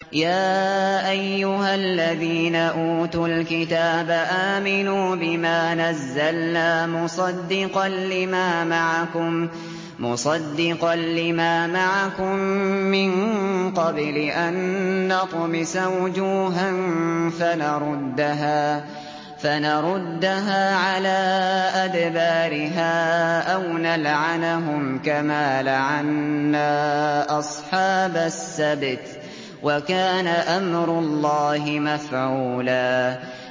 يَا أَيُّهَا الَّذِينَ أُوتُوا الْكِتَابَ آمِنُوا بِمَا نَزَّلْنَا مُصَدِّقًا لِّمَا مَعَكُم مِّن قَبْلِ أَن نَّطْمِسَ وُجُوهًا فَنَرُدَّهَا عَلَىٰ أَدْبَارِهَا أَوْ نَلْعَنَهُمْ كَمَا لَعَنَّا أَصْحَابَ السَّبْتِ ۚ وَكَانَ أَمْرُ اللَّهِ مَفْعُولًا